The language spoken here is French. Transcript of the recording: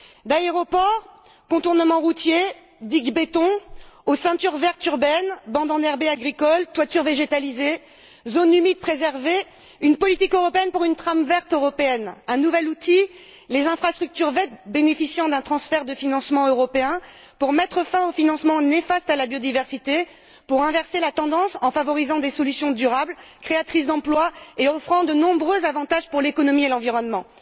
d'aéroports, de contournements routiers et de digues en béton aux ceintures vertes urbaines, aux bandes enherbées agricoles, aux toitures végétalisées, aux zones humides préservées une politique européenne pour une trame verte européenne. Un nouvel outil les infrastructures vertes bénéficiant d'un transfert de financement européen, pour mettre fin aux financements néfastes à la biodiversité, pour inverser la tendance, en favorisant des solutions durables, créatrices d'emplois et offrant de nombreux avantages pour l'économie et l'environnement.